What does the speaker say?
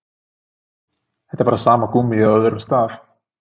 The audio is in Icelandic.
Þetta er bara sama gúmmíið á öðrum stað.